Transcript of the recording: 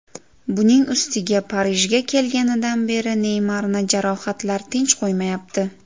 Buning ustiga Parijga kelganidan beri Neymarni jarohatlar tinch qo‘ymayapti.